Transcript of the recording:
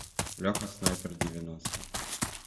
леха снайпер девяносто